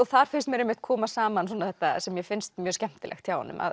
þar finnst mér einmitt koma saman þetta sem mér finnst mjög skemmtilegt hjá honum